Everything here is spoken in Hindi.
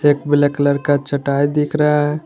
एक ब्लैक कलर का चटाई दिख रहा है।